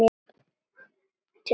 Til eru fræ.